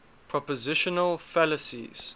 propositional fallacies